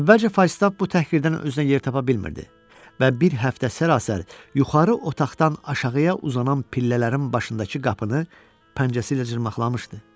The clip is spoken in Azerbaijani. Əvvəlcə Faystaff bu təhqirdən özünə yer tapa bilmirdi və bir həftə sərasər yuxarı otaqdan aşağıya uzanan pillələrin başındakı qapını pəncəsi ilə cırmaqlamışdı.